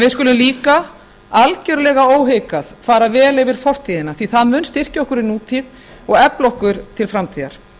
við skulum líka algjörlega óhikað fara vel yfir fortíðina því að það mun styrkja okkur í nútíð og efla okkur til framtíðar